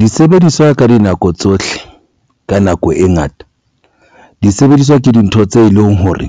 Disebediswa ka dinako tsohle ka nako e ngata disebediswa ke dintho tse leng hore